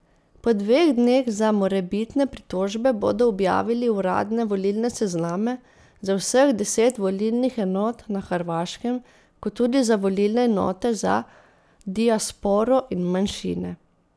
Po dveh dneh za morebitne pritožbe bodo objavili uradne volilne sezname za vseh deset volilnih enot na Hrvaškem kot tudi za volilne enote za diasporo in manjšine.